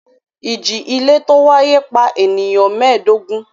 Ìjì-ilẹ̀ tó wáyé pa ènìyàn mẹ́ẹ̀dógún.